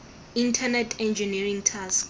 internet engineering task